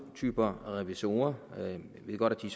typer revisorer jeg ved godt at de